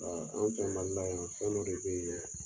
Ɔn anw fɛ Mali la yan fɛn dɔ de be yen dɛ